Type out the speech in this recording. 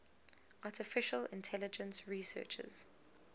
artificial intelligence researchers